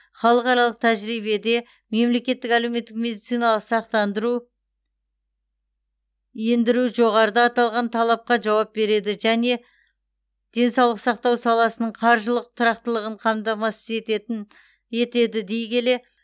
халықаралық тәжірибеде мемлекеттік әлеуметтік медициналық сақтандыру ендіру жоғарыда аталған талапқа жауап береді және денсаулық сақтау саласының қаржылық тұрақтылығын қамтамасыз ететін етеді дей келе